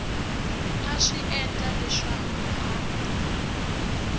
a swi endla leswaku a